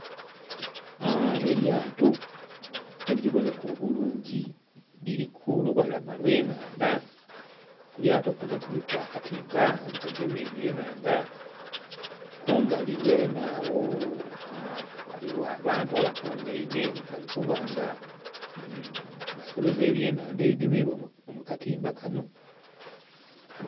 Elyato elibonheka obulungi liri ku lubalama lw'ennhandha, ku lyato kuno kuliku akatimba okagema ebyenhandha, kumbali ghenhe agho ghaligho abantu abakungaine, bali kuba nga basoloza ebyenhandha ebigemeibwa mu katimba kano.